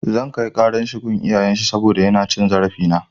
Zan kai ƙarar shi gun iyayen shi saboda yana cin zarafina.